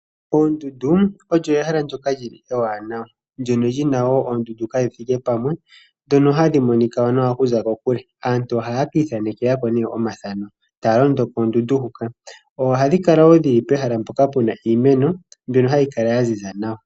Oondundu olyo ehala ndoka lyi li ewanawa ndono lyina wo oondundu kadhi thike pamwe, dhono hadhi monika nawa okuza kokule. Aantu ohaya ka ithanekela ko nee omathano, taya londo poondundu huka. Ohadi kala wo pehala mpoka puna iimeno, mbyono hayi kala ya ziza nawa.